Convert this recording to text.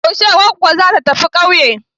Yaushe goggo za ta tafi kauye?